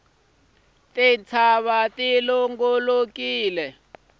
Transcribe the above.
tintshava ti longolokile